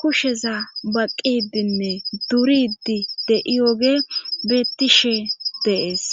kusheza baqidinne duridi de'iyoge beettishe de'ees